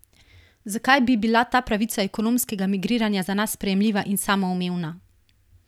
Zakaj bi bila ta pravica ekonomskega migriranja za nas sprejemljiva in samoumevna?